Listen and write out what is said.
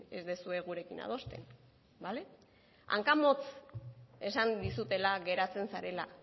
ez duzuen gurekin adosten bale hankamotz esan dizutela geratzen zarela